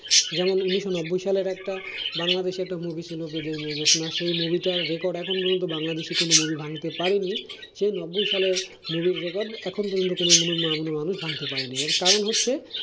যেমন ঊনিশশো নব্বই সালের একটা বাংলাদেশে একটা movie ছিল বেদের মেয়ে জ্যোৎস্না সেই movie টার record এখন পর্যন্ত বাংলাদেশী কোনো movie ভাঙতে পারেনি, সেই নব্বই সালের movie র record এখন পর্যন্ত কোনো movie কোনো মানুষ ভাঙতে পারেনি এর কারণ হচ্ছে।